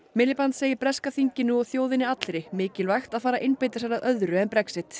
Miliband segir breska þinginu og þjóðinni allri mikilvægt að fara að einbeita sér að öðru en Brexit